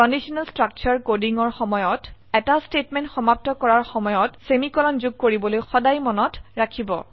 conditional structure coding ৰ সময়ত এটা স্টেটমেন্ট সমাপ্ত কৰাৰ সময়ত সেমিকোলন যোগ কৰিবলৈ সদায় মনত ৰাখিব